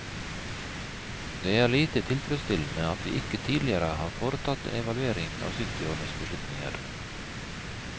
Det er lite tilfredsstillende at vi ikke tidligere har foretatt en evaluering av syttiårenes beslutninger.